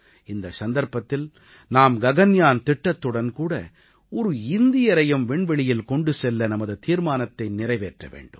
இந்தச் சந்தர்ப்பத்தில் நாம் ககன்யான் திட்டத்துடன் கூட ஒரு இந்தியரையும் விண்வெளியில் கொண்டு செல்ல நமது தீர்மானத்தை நிறைவேற்ற வேண்டும்